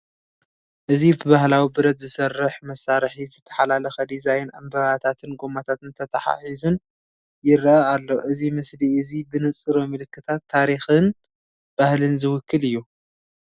እዚ ብባህላዊ ብረት ዝሰርሕ መሳርሒ ዝተሓላለኸ ዲዛይን ዕምባባታትን ጎማታት ተተሓሒዙን ይረአ ኣሎ። እዚ ምስሊ እዚ ብንጹር ምልክት ታሪኽን ባህልን ዝውክል እዩ።